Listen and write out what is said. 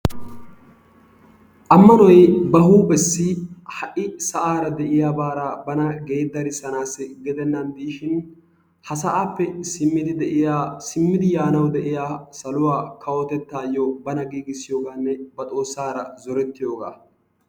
Ammanoy ba huuphessi ha'i sa'aara de'iyaabara bana geeddarissanassi gidennani diishin ha sa'appe simmidi de'iyaa simmidi yaanawu de'iyaa saluwaa kawotettaayyo bana giigissiyogaanne ba Xoossaara zorettiyooga.